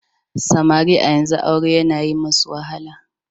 Samari a yanzu aure yana yi wa wasu wahala.